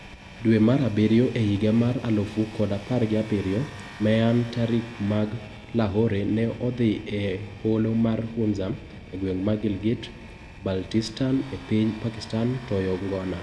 Dwe mar abiriyo ehiga mar alufu kod apar gi abiriyo Meenah Tariq mak Lahore ne odhi eholo ma Hunza egweng ma Gilgit -Baltistan epiny Pakistan toyo ngona.